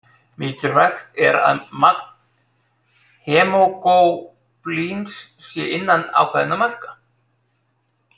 Mikilvægt er að magn hemóglóbíns sé innan ákveðinna marka.